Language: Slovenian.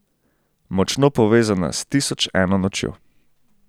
Močno povezana s Tisoč eno nočjo.